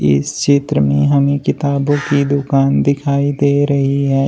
इस चित्र में हमे किताबों की दुकान दिखाई दे रही है।